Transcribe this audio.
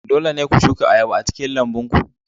Dole ne ku shuka ayaba a cikin lambun ku.